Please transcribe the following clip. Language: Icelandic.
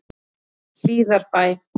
Hlíðarbæ